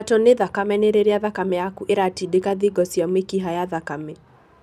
Kwambato nĩ thakame nĩ rĩrĩa thakame yaku ĩratindĩka thingo cia mĩkiha ya thakame.